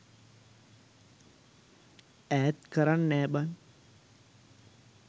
ඈත් කරන් නෑ බන්